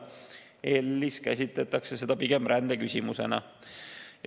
EL‑is käsitatakse seda pigem rändeküsimusena.